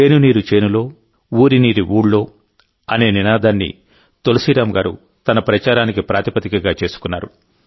చేను నీరు చేనులో ఊరి నీరు ఊళ్లో అనే నినాదాన్ని తులసీరామ్ గారు తన ప్రచారానికి ప్రాతిపదికగా చేసుకున్నారు